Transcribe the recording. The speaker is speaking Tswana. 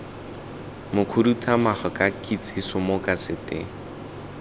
mokhuduthamaga ka kitsiso mo kaseteng